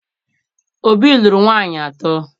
Obi lụrụ nwaanyị atọ